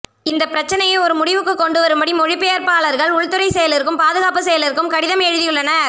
இந்தப் பிரச்சனையை ஒரு முடிவுக்கு கொண்டுவரும்படி மொழிபெயர்ப்பாளர்கள் உள்துறைச் செயலருக்கும் பாதுகாப்புச் செயலருக்கும் கடிதம் எழுதியுள்ளனர்